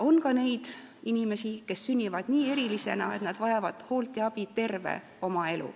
On ka neid inimesi, kes sünnivad nii erilisena, et nad vajad hoolt ja abi terve oma elu.